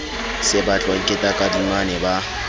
se batlwang ke takadimane ba